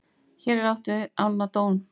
hér er átt við ána don